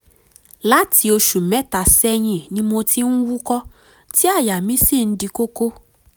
láti oṣù mẹ́ta sẹ́yìn ni mo ti ń wúkọ́ tí àyà mi sì ń di kókó